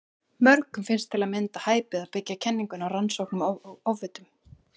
Mörgum finnst til að mynda hæpið að byggja kenninguna á rannsóknum á ofvitum.